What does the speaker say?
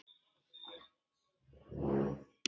Er það kannski málið?